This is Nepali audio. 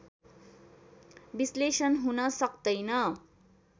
विश्लेषण हुन सक्तैन